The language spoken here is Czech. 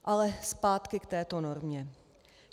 Ale zpátky k této normě.